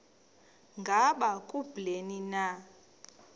ngaba kubleni na